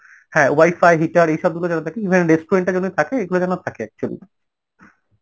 হ্যাঁ wi-fi, heater এইসব গুলো যারা থাকে even restaurant টা যেন থাকে এগুলো যেন থাকে actually